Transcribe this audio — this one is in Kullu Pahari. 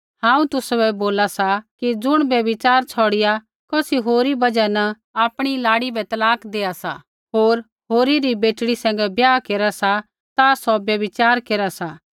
हांऊँ तुसाबै बोला सा कि ज़ुण व्यभिचार छ़ौड़िआ कौसी होरी बजहा न आपणी लाड़ी बै तलाक देआ सा होर होरी री बेटड़ी सैंघै ब्याह केरा सा ता सौ व्यभिचार केरा सा